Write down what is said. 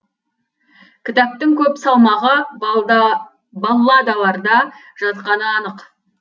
кітаптың көп салмағы балладаларда жатқаны анық